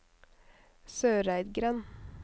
Søreidgrend